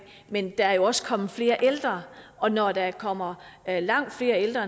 men der er også kommet flere ældre og når der kommer langt flere ældre